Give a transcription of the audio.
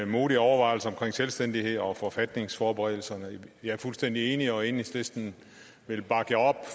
modige overvejelser om selvstændighed og forfatningsforberedelserne jeg er fuldstændig enig og enhedslisten vil bakke